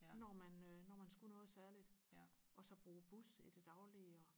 når man øh når man skulle noget særligt og så bruge bus i det daglige og